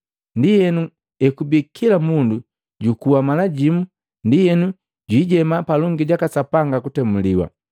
Ndienu ngati ekubii kila mundu jukuwa mala jimu, ndienu jwiijema palongi jaka Sapanga kutemuliwa.